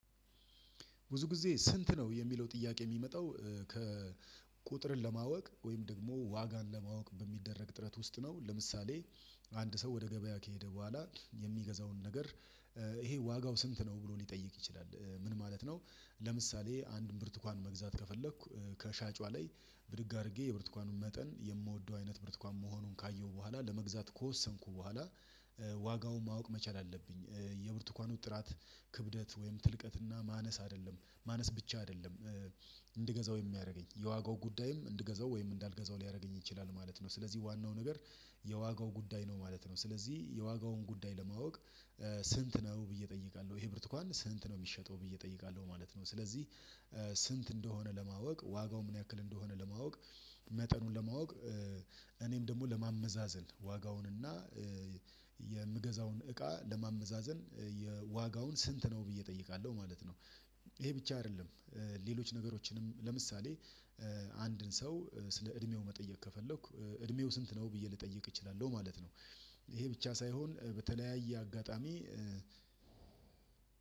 ብዙ ጊዜ ስንት ነው የሚለው ጥያቄ የሚመጣው ከቁጥርን ለማወቅ ወይም ደግሞ ዋጋን ለማወቅ በሚደረግ ጥረት ውስጥ ነው ለምሳሌ አንድ ሰው ወደ ገበያ ከሄደ በኋላ የሚገዛውን ነገር ይሄ ዋጋው ስንት ነው ብሎ ሊጠይቅ ይችላል ምን ማለት ነው? ለምሳሌ አንድን ብርቱካን መግዛት ከፈለኩ ከሻጯ ላይ ብድግ አድርጌ የብርቱካኑን መጠን የምወደው አይነት ብርቱካን መሆኑን ካየሁ በኋላ ለመግዛት ከወሰንኩ በኋላ ዋጋውን ማወቅ መቻል አለብኝ። የብርቱካኑ ጥራት ክብደት ወይም ትልቀትና ማነስ አይደለም ማነስ ብቻ አይደለም እንድገዛው የሚያደርገኝ የዋጋው ጉዳይም እንድገዛው ወይም እንዳልገዛው ሊያደርገኝ ይችላል ማለት ነው። ስለዚህ ዋናው ነገር የዋጋው ጉዳይ ነው ማለት ነው። ስለዚህ የዋጋውን ጉዳይ ለማወቅ ስንት ነው ብዬ እጠይቃለሁ ይሄ ብርቱካን ስንት ነው የሚሸጠው ብዬ እጠይቃለሁ ማለት ነው። ስለዚህ ስንት እንደሆነ ለማወቅ ዋጋው ምን ያክል እንደሆነ ለማወቅ መጠኑን ለማወቅ እኔም ደግሞ ለማመዛዘን ዋጋውን እና የምገዛውን እቃ ለማመዛዘን የዋጋውን ስንት ነው ብዬ እጠይቃለሁ ማለት ነው። ይሄ ብቻ አይደለም ሌሎች ነገሮችንም ለምሳሌ አንድን ሰው ስለ እድሜው መጠየቅ ከፈለኩ እድሜው ስንት ነው ብዬ ልጠይቅ እችላለሁ ማለት ነው። ይሄ ብቻ ሳይሆን በተለያየ አጋጣሚ